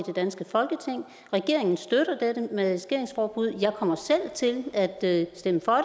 det danske folketing regeringen støtter dette maskeringsforbud og jeg kommer selv til at at stemme for